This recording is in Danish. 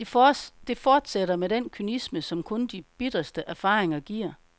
Det fortsætter med den kynisme, som kun de bitreste erfaringer giver.